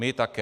My také.